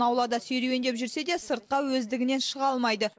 аулада серуендеп жүрсе де сыртқа өздігімен шыға алмайды